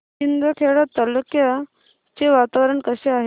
शिंदखेडा तालुक्याचे वातावरण कसे आहे